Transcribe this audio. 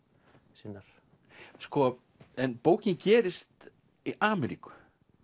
sinnar en bókin gerist í Ameríku